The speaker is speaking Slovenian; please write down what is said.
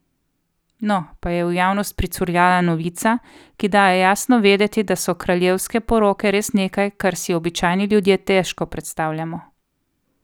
No, pa je v javnost pricurljala novica, ki daje jasno vedeti, da so kraljevske poroke res nekaj, kar si običajni ljudje težko predstavljamo.